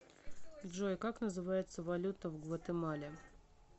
джой как называется валюта в гватемале